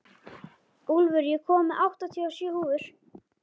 Úlfur, ég kom með áttatíu og sjö húfur!